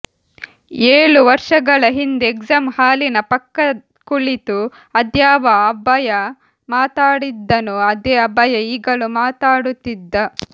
ಏಳು ವರ್ಷಗಳ ಹಿಂದೆ ಎಕ್ಸಾಮ್ ಹಾಲಿನ ಪಕ್ಕ ಕುಳಿತು ಅದ್ಯಾವ ಅಭಯ ಮಾತಾಡಿದ್ದನೋ ಅದೇ ಅಭಯ ಈಗಲೂ ಮಾತಾಡುತ್ತಿದ್ದ